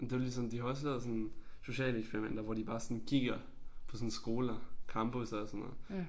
Men det jo ligesom de har også lavet sådan sociale eksperimenter hvor de bare sådan kigger på sådan skoler campusser og sådan noget